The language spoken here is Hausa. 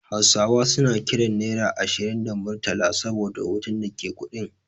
Hausawa suna kiran Naira ashirin da Murtala saboda hoton da ke kuɗin.